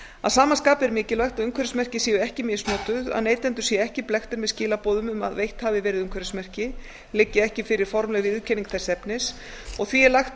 að sama skapi er mikilvægt að umhverfismerki séu ekki misnotuð að neytendur séu ekki blekktir með skilaboðum um að veitt hafi verið umhverfismerki liggi ekki fyrir formleg viðurkenning þess efnis því er lagt